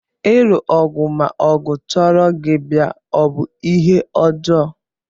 Ilu ọgụ ma ọgụ chọrọ gị bịa ọ bụ ihe ọjọọ?